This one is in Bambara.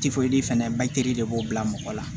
fɛnɛ de b'o bila mɔgɔ la